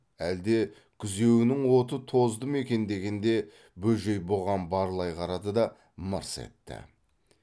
әлде күзеуінің оты тозды мекен дегенде бөжей бұған барлай қарады да мырс етті